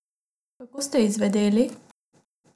Kako ste izvedeli?